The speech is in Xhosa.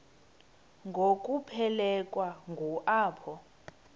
ngokuphelekwa ngu apho